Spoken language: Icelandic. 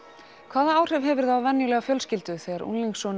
hvaða áhrif hefur það á venjulega fjölskyldu þegar